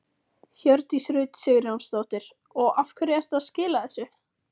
Hjördís Rut Sigurjónsdóttir: Og af hverju ertu að skila þessu?